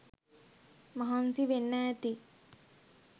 මහන්සි වෙන්න ඇති.